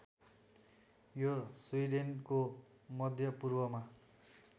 यो स्विडेनको मध्यपूर्वमा